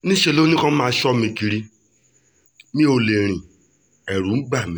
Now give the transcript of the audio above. níṣẹ́ ló ní kí wọ́n máa sọ mí kiri mi ò lè rìn ẹ̀rù ń bà mí